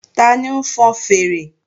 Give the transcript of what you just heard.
Tani ń fọn fèèrè?